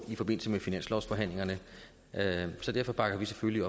i forbindelse med finanslovsforhandlingerne så derfor bakker vi selvfølgelig